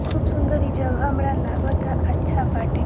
खूब सुंदर इ जगह हमरा लागता अच्छा बाटे।